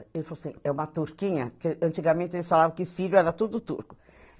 Ele falou assim, é uma turquinha, porque antigamente eles falavam que sírio era tudo turco.